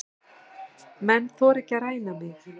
Menn þora ekki að ræna mig.